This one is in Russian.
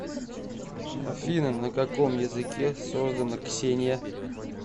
афина на каком языке создано ксения